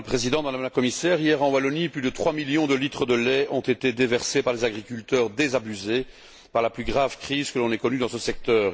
Madame la Présidente, Madame la Commissaire, hier en Wallonie, plus de trois millions de litres de lait ont été déversés par des agriculteurs désabusés par la plus grave crise que l'on ait connue dans ce secteur.